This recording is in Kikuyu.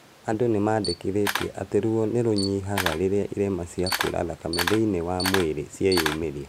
Andũ nĩmandĩkithĩtie atĩ ruo nĩrũnyihaga rĩrĩa irema cia kura thakame thĩiniĩ wa mwĩrĩ cieyumĩria